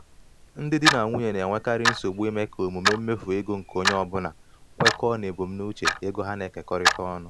ndị di na nwunye na-enwekarị nsogbu ime ka omume mmefu ego nke onye ọ bụla kwekọọ na ebumnuche ego ha na-ekekọrịta ọnụ.